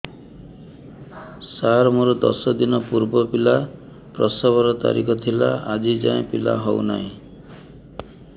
ସାର ମୋର ଦଶ ଦିନ ପୂର୍ବ ପିଲା ପ୍ରସଵ ର ତାରିଖ ଥିଲା ଆଜି ଯାଇଁ ପିଲା ହଉ ନାହିଁ